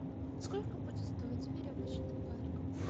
сколько будет стоить веревочный парк